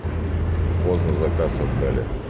поздно заказ отдали